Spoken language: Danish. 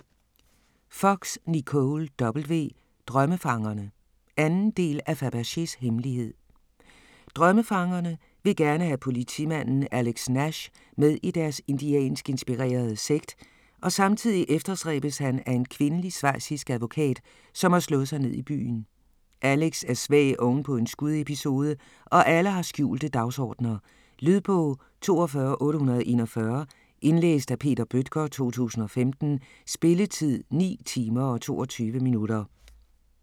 Fox, Nicole W.: Drømmefangerne 2. del af Fabergés hemmelighed. Drømmefangerne vil gerne have politimanden Alex Nash med i deres indiansk inspirerede sekt, og samtidig efterstræbes han af en kvindelig schweizisk advokat, som har slået sig ned i byen. Alex er svag ovenpå en skudepisode, og alle har skjulte dagsordener. Lydbog 42841 Indlæst af Peter Bøttger, 2015. Spilletid: 9 timer, 22 minutter.